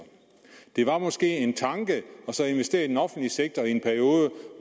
det var måske en tanke at investere i den offentlige sektor i en periode